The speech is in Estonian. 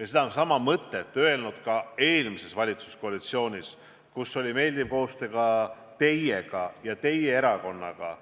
ja sedasama mõtet eelmisegi valitsuskoalitsiooni ajal, kui tegime meeldivat koostööd ka teiega ja teie erakonnaga.